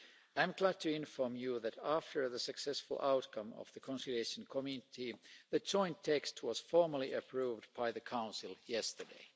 I am glad to inform you that after the successful outcome of the Conciliation Committee, the joint text was formally approved by the Council yesterday.